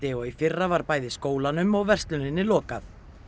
og í fyrra var bæði skólanum og versluninni lokað